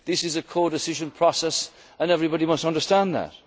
as a Prime Minister. This is a codecision process and everyone must